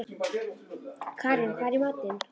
Karin, hvað er í matinn?